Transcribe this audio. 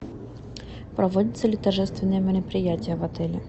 проводятся ли торжественные мероприятия в отеле